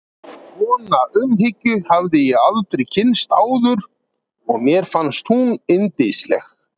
Svona umhyggju hafði ég aldrei kynnst áður og mér fannst hún yndisleg.